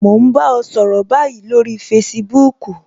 Mo n bá ọ sọ̀rọ̀ báyìí lórí Facebook